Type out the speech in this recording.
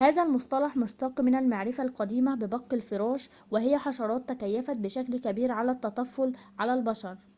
هذا المصطلح مشتق من المعرفة القديمة ببق الفراش وهي حشرات تكيفت بشكل كبير على التطفل على البشر